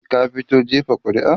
ka fito jefa ƙuri'a?